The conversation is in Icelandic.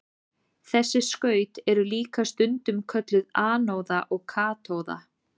Þessi skaut eru líka stundum kölluð anóða og katóða.